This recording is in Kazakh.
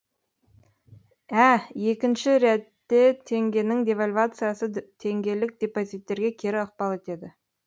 ә екінші ретте теңгенің девальвациясы теңгелік депозиттерге кері ықпал етеді